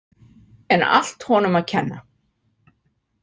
En allt honum að kenna.